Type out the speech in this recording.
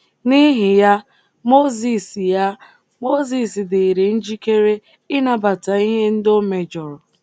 N’ihi ya, Mozis ya, Mozis dịịrị njikere ịnabata ihe ndị o mejọrọ.